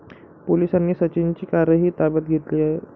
पोलिसांनी सचिनची कारही ताब्यात घेतली आहे.